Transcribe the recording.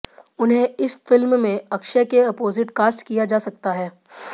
उन्हें इस फिल्म में अक्षय के अपोजिट कास्ट किया जा सकता है